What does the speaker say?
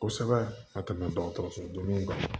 Kosɛbɛ ka tɛmɛ dɔgɔtɔrɔsodeniw kan